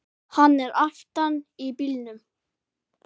Hann er aftan í bílnum!